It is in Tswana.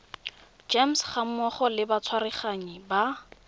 gems gammogo le batsereganyi ba